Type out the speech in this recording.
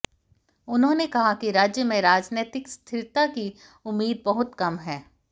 उन्होंने कहा कि राज्य में राजनैतिक स्थिरता की उम्मीद बहुत कम है